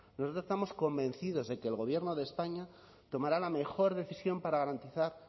nosotros estamos convencidos de que el gobierno de españa tomará la mejor decisión para garantizar